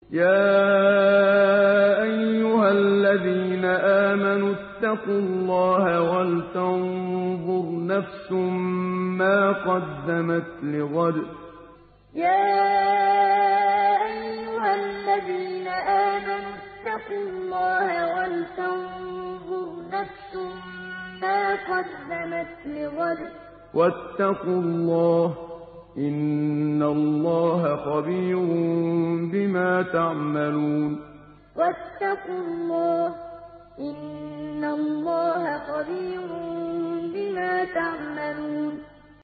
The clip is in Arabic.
يَا أَيُّهَا الَّذِينَ آمَنُوا اتَّقُوا اللَّهَ وَلْتَنظُرْ نَفْسٌ مَّا قَدَّمَتْ لِغَدٍ ۖ وَاتَّقُوا اللَّهَ ۚ إِنَّ اللَّهَ خَبِيرٌ بِمَا تَعْمَلُونَ يَا أَيُّهَا الَّذِينَ آمَنُوا اتَّقُوا اللَّهَ وَلْتَنظُرْ نَفْسٌ مَّا قَدَّمَتْ لِغَدٍ ۖ وَاتَّقُوا اللَّهَ ۚ إِنَّ اللَّهَ خَبِيرٌ بِمَا تَعْمَلُونَ